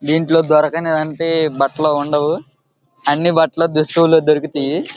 దీంట్లో దొరకని అంటే బట్టలు ఉండవు అన్ని బట్టలు దుస్తులు దొరుకుతాయి.